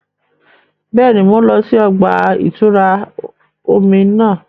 Bẹẹni, Mo n lọ sí ọgba-itura omí náà